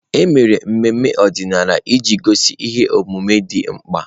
Emere ememe ọdịnala iji gosi ihe omume dị mkpa.